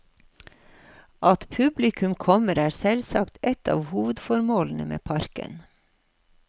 At publikum kommer, er selvsagt et av hovedformålene med parken.